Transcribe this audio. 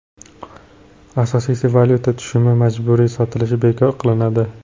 Asosiysi valyuta tushumi majburiy sotilishi bekor qilinadi.